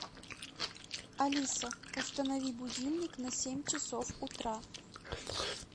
алиса установи будильник на семь часов утра